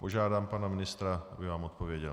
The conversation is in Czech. Požádám pana ministra, aby vám odpověděl.